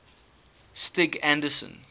stig anderson